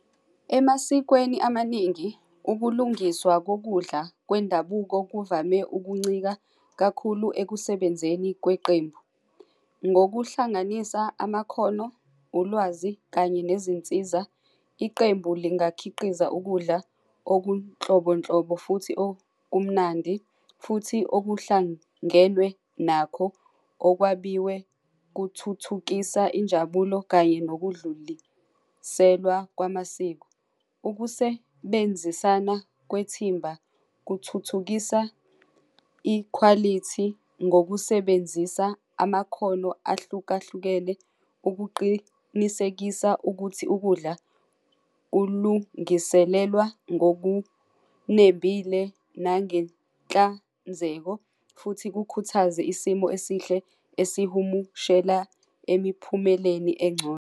Emasikweni amaningi, ukulungiswa kokudla kwendabuko kuvame ukuncika kakhulu ekusebenzeni kweqembu. Ngokuhlanganisa amakhono, ulwazi kanye nezinsiza, iqembu lingakhiqiza ukudla okunhlobo nhlobo, futhi okumnandi futhi okuhlangelwe nakho okwabiwe kuthuthukisa injabulo kanye nokudluliselwa kwamasiko. Ukusebenzisana kwethimba kuthuthukisa ikhwalithi ngokusebenzisa amakhono ahlukahlukene ukuqinisekisa ukuthi ukudla kulungiselelwa ngokunembile nangenhlanzeko, futhi kukhuthaze isimo esihle esihumushela emiphumeleni engcono.